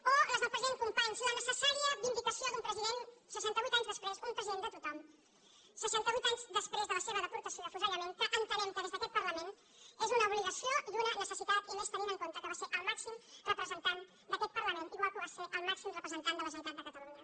o les del president companys la necessària vindicació d’un president un president de tothom seixanta vuit anys després de la seva deportació i afusellament que entenem que des d’aquest parlament és una obligació i una necessitat i més tenint en compte que va ser el màxim representant d’aquest parlament igual com va ser el màxim representant de la generalitat de catalunya